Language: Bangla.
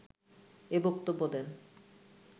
এ বক্তব্য দেন